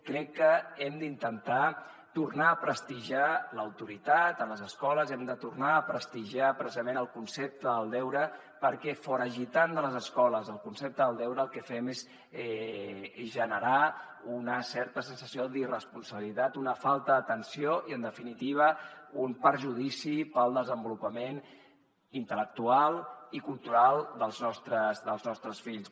crec que hem d’intentar tornar a prestigiar l’autoritat a les escoles hem de tornar a prestigiar precisament el concepte del deure perquè foragitant de les escoles el concepte del deure el que fem és generar una certa sensació d’irresponsabilitat una falta d’atenció i en definitiva un perjudici per al desenvolupament intel·lectual i cultural dels nostres fills